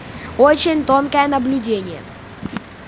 очень тонкое наблюдение